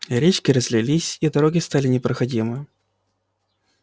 речки разлились и дороги стали непроходимы